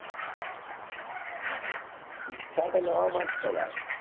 ઈચ્છા તો નવા માં જ છે ભાઈ